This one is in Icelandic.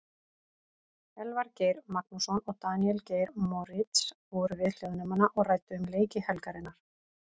Elvar Geir Magnússon og Daníel Geir Moritz voru við hljóðnemana og ræddu um leiki helgarinnar.